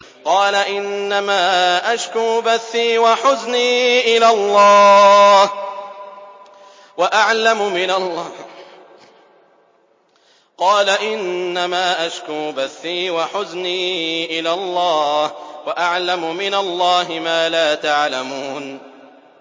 قَالَ إِنَّمَا أَشْكُو بَثِّي وَحُزْنِي إِلَى اللَّهِ وَأَعْلَمُ مِنَ اللَّهِ مَا لَا تَعْلَمُونَ